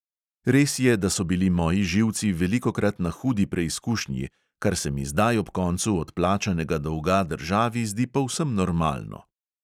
Res je, da so bili moji živci velikokrat na hudi preizkušnji, kar se mi zdaj ob koncu odplačanega dolga državi zdi povsem normalno.